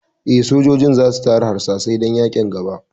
Eh, sojojin za su tara harsashai dan yaƙin gaba